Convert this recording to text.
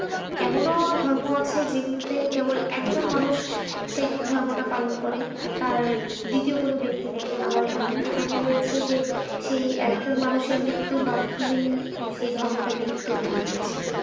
এমনও ধর্ম আছে যেগুলোতে কেবল একজন মানুষ সেই ধর্মটা পালন করে, আর দ্বিতীয় কোন ব্যক্তি নেই আবার এমনও ধর্ম রয়েছে যে সেই একজন মানুষের মৃত্যুর মাধ্যমেই সেই ধর্মটি বিলুপ্ত হয়ে গিয়েছে।